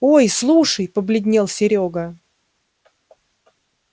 ой слушай побледнел серёга